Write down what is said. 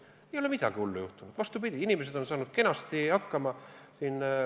Ei ole midagi hullu juhtunud, vastupidi, inimesed on saanud kenasti hakkama.